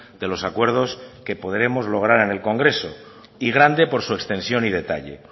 de los acuerdos que podremos lograr en el congreso y grande por su extensión y detalle